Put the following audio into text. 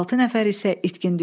Altı nəfər isə itkin düşdü.